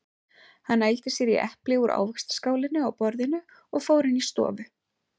Hann nældi sér í epli úr ávaxtaskálinni á borðinu og fór inn í stofu.